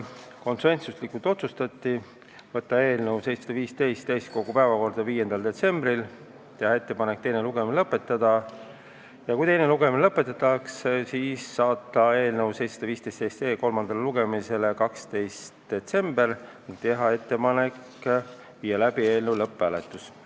Konsensusega otsustati võtta eelnõu 715 täiskogu päevakorda 5. detsembriks, teha ettepanek teine lugemine lõpetada ja kui teine lugemine lõpetatakse, siis saata eelnõu kolmandale lugemisele 12. detsembriks ning teha ettepanek viia läbi lõpphääletus.